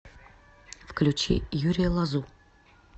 включи юрия лозу